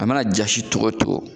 A mana jasi tɔgɔ o cogo.